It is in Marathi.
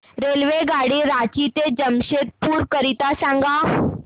रेल्वेगाडी रांची ते जमशेदपूर करीता सांगा